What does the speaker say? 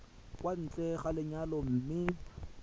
kwa ntle ga lenyalo mme